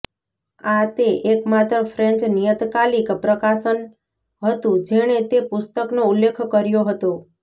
આ તે એકમાત્ર ફ્રેંચ નિયતકાલિક પ્રકાશન હતું જેણે તે પુસ્તકનો ઉલ્લેખ કર્યો હતો